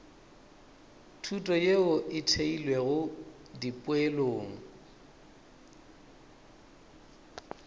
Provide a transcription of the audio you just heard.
thuto yeo e theilwego dipoelong